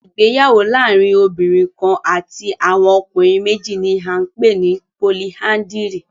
Ìgbéyàwó laarin obinrin kan ati awọn ọkunrin meji ni a npe ni políandírì